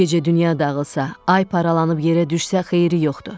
Bu gecə dünya dağılsa, ay paralanıb yerə düşsə xeyri yoxdur.